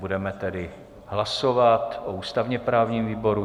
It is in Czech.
Budeme tedy hlasovat o ústavně-právním výboru.